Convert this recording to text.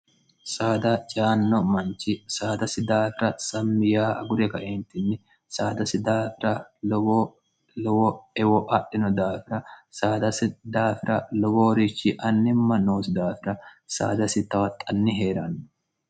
saada jaanno manchi saadasi daafira sammi yaa agure gaeentinni saadasi daafira lowo lowo ewo adhino daafira saadasi daafira lowoorichi annimma noosi daafira saadasi tawaxanni hee'raanno